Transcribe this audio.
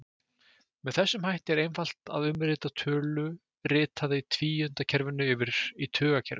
Með þessum hætti er einfalt að umrita tölu ritaða í tvíundakerfinu yfir í tugakerfið.